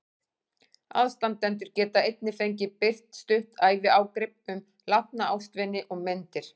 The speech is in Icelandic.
Aðstandendur get einnig fengið birt stutt æviágrip um látna ástvini og myndir.